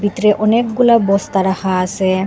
ভেতরে অনেকগুলা বস্তা রাখা আসে ।